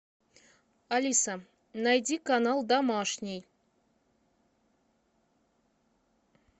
алиса найди канал домашний